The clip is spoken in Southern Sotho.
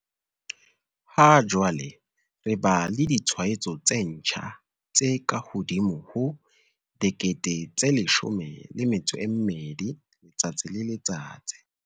Ha jwale re ba le ditshwaetso tse ntjha tse kahodimo ho 12 000 letsatsi le letsatsi.